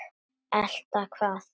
Elta hvað?